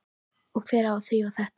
Og hver á að þrífa þetta?